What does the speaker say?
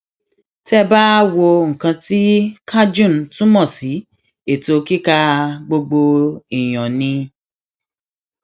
tẹ ẹ bá wo nǹkan tí cajun túmọ sí ètò kíkà gbogbo èèyàn ni